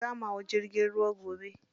Za mu hau jirgin ruwa gobe.